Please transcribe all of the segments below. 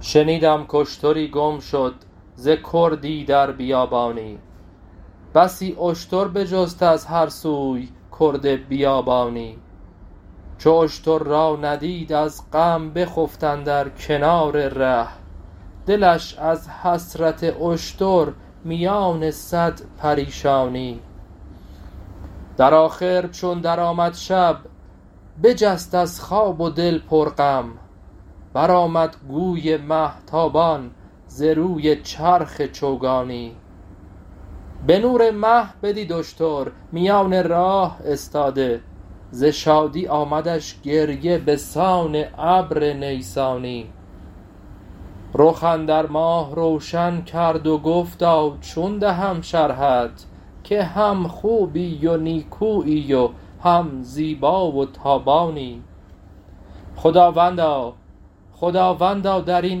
شنیدم کاشتری گم شد ز کردی در بیابانی بسی اشتر بجست از هر سوی کرد بیابانی چو اشتر را ندید از غم بخفت اندر کنار ره دلش از حسرت اشتر میان صد پریشانی در آخر چون درآمد شب بجست از خواب و دل پرغم برآمد گوی مه تابان ز روی چرخ چوگانی به نور مه بدید اشتر میان راه استاده ز شادی آمدش گریه به سان ابر نیسانی رخ اندر ماه روشن کرد و گفتا چون دهم شرحت که هم خوبی و نیکویی و هم زیبا و تابانی خداوندا در این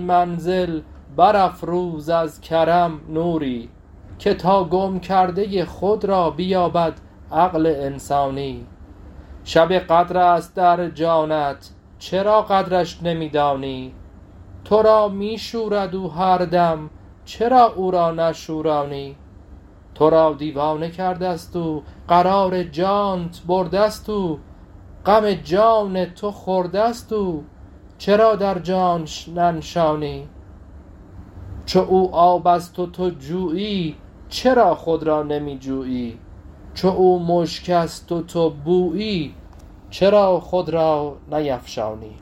منزل برافروز از کرم نوری که تا گم کرده خود را بیابد عقل انسانی شب قدر است در جانب چرا قدرش نمی دانی تو را می شورد او هر دم چرا او را نشورانی تو را دیوانه کرده ست او قرار جانت برده ست او غم جان تو خورده ست او چرا در جانش ننشانی چو او آب است و تو جویی چرا خود را نمی جویی چو او مشک است و تو بویی چرا خود را نیفشانی